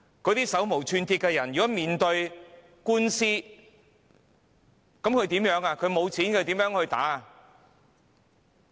那些手無寸鐵的人如果面對官司，應如何是好？